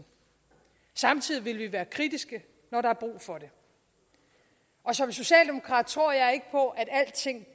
samtidig vil vi være kritiske når der er brug for det og som socialdemokrat tror jeg ikke på at alting